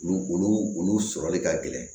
Olu olu sɔrɔli ka gɛlɛn